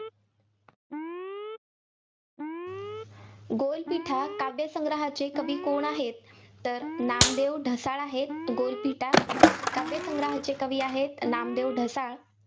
गोलपीठा काव्यसंग्रहाचे कवी कोण आहेत? तर नामदेव ढसाळ आहेत. गोलपीठा काव्यसंग्रहाचे कवी आहेत नामदेव ढसाळ.